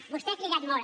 vostè ha cridat molt